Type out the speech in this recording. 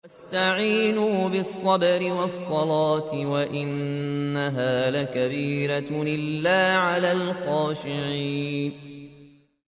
وَاسْتَعِينُوا بِالصَّبْرِ وَالصَّلَاةِ ۚ وَإِنَّهَا لَكَبِيرَةٌ إِلَّا عَلَى الْخَاشِعِينَ